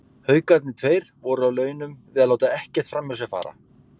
Haukarnir tveir voru á launum við að láta ekkert framhjá sér fara.